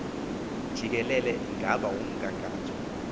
jikelele ingaba umgangatho